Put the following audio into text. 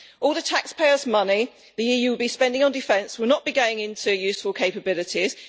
All the taxpayers' money the EU will be spending on defence will not be going into useful capabilities.